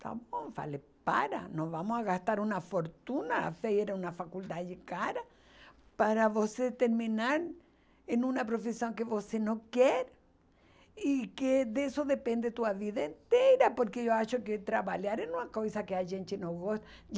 Tá bom, falei, para, nós vamos gastar uma fortuna, a FEI era uma faculdade cara, para você terminar em uma profissão que você não quer, e que disso depende a sua vida inteira, porque eu acho que trabalhar é uma coisa que a gente não gosta